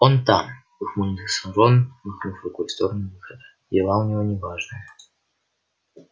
он там ухмыльнулся рон махнув рукой в сторону выхода дела у него неважные